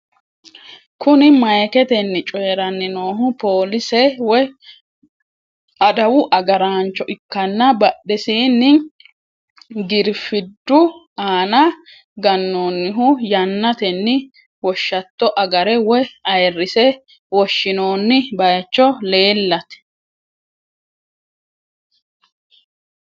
Kuni mayiketenni coyranni noohu police woy adawu agarancho ikkanna badhesinni girifiddu aana gannonnihu yannatenni woshshatto agare woy ayirinse woshshinonni bayicho leellate.